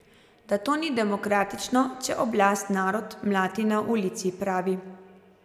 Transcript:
Da to ni demokratično, če oblast narod mlati na ulici, pravi.